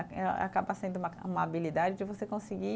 Eh acaba sendo uma, uma habilidade de você conseguir